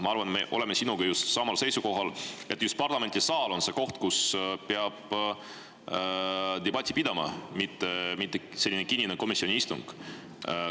Ma arvan, me oleme sinuga samal seisukohal, et just parlamendisaal on see koht, kus peab debatti pidama, mitte kinnine komisjoni istung.